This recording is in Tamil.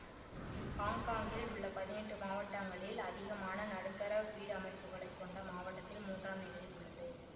ஹாங்காங்கில் உள்ள பதினெட்டு மாவட்டங்களில் அதிகமான நடுத்தர வீடமைப்புகளைக் கொண்ட மாவட்டத்தில் மூன்றாம் நிலையில் உள்ளது